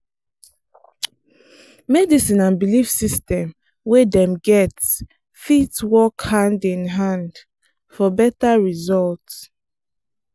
medicine and belief system wey dem get fit work hand-in-hand for better result.